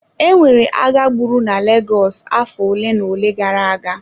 E nwere agha agbụrụ na Lagos afọ ole na ole gara aga.